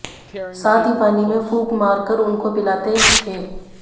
साथ ही पानी में फूंक मार कर उनको पिलाते थे